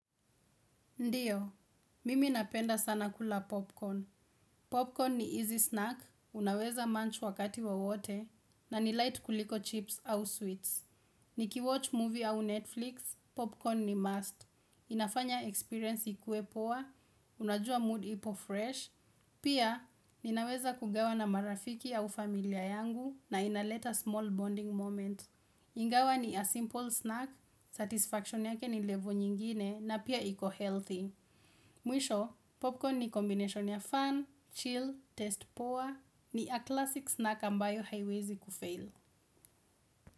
Ndiyo, mimi napenda sana kula popcorn. Popcorn ni easy snack, unaweza manch wakati wowote, na ni light kuliko chips au sweets. Nikiwatch movie au Netflix, popcorn ni must. Inafanya experience ikue poa, unajua mood ipo fresh. Pia, ninaweza kugawa na marafiki au familia yangu na inaleta small bonding moment. Ingawa ni a simple snack, satisfaction yake ni level nyingine na pia iko healthy. Mwisho, popcorn ni combination ya fun, chill, test poa ni a classic snack ambayo haiwezi kufail.